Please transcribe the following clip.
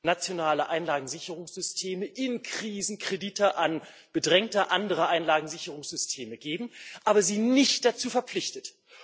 nationale Einlagensicherungssysteme in Krisen Kredite an bedrängte andere Einlagensicherungssysteme geben, aber sie nicht dazu verpflichtet.